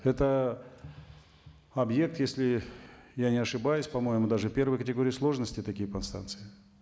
это объект если я не ошибаюсь по моему даже первой категории сложности такие подстанции